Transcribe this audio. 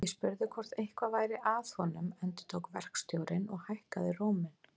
Ég spurði hvort eitthvað væri að honum endurtók verkstjórinn og hækkaði róminn.